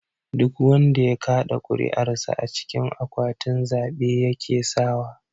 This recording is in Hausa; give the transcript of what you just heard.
Duk wanda ya kaɗa kuri'ar sa a cikin akwatin zabe yake sawa.